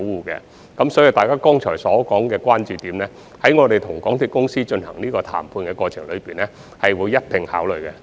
因此，大家剛才提及的關注點，我們會在與港鐵公司談判的過程中一併考慮。